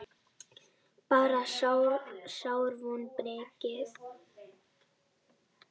Bara sár vonbrigði.